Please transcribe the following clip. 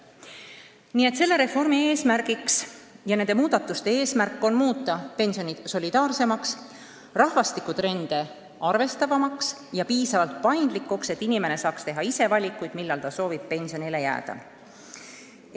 Nii et selle reformi ja nende muudatuste eesmärk on muuta pensionid solidaarsemaks, rahvastikutrende arvestavamaks ja piisavalt paindlikuks, et inimene saaks teha ise valikuid, millal ta soovib pensionile jääda.